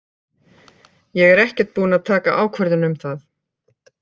Ég er ekkert búin að taka ákvörðun um það.